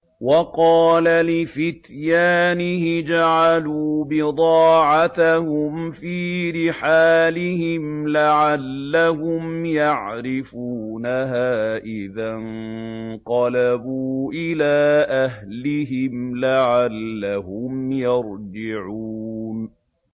وَقَالَ لِفِتْيَانِهِ اجْعَلُوا بِضَاعَتَهُمْ فِي رِحَالِهِمْ لَعَلَّهُمْ يَعْرِفُونَهَا إِذَا انقَلَبُوا إِلَىٰ أَهْلِهِمْ لَعَلَّهُمْ يَرْجِعُونَ